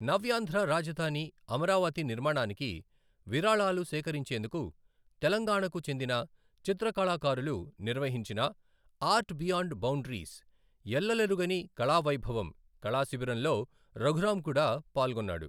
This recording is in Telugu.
నవ్యాంధ్ర రాజధాని అమరావతి నిర్మాణానికి విరాళాలు సేకరించేందుకు తెలంగాణకు చెందిన చిత్రకళాకారులు నిర్వహించిన ఆర్ట్ బియాండ్ బౌండరీస్ ఎల్లలెరుగని కళావైభవం. కళాశిబిరంలో రఘురాం కూడా పాల్గొన్నాడు.